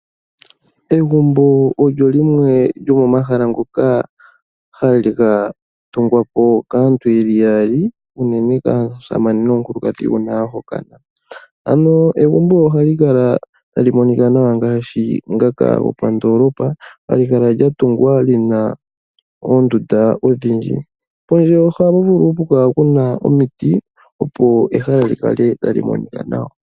Egumbo olyo limwe lyomo mahala ngoka haga tugwapo kaantu yaali, unene tuu omusamane nomukulukadhi uuna yahokana egumbo lyopandoolopa ohali kala tali monikwa nawa, halikala lina oondundu odhindji, pondje ohapukala omiti opo ehala li kale tali monika nawa.